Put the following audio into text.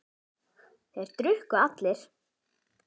Þeir drukku allir.